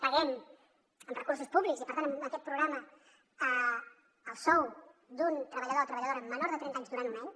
paguem amb recursos públics i per tant amb aquest programa el sou d’un treballador o treballadora menor de trenta anys durant un any